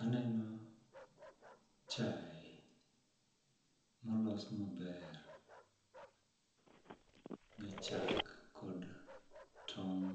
Aneno chae molos maber gi chak kod tong'